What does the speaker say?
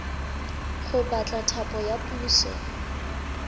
go batla thapo ya puso